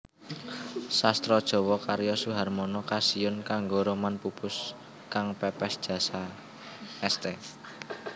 Sastra JawaKarya Suharmono Kasiyun kanggo roman Pupus kang PépésJasa St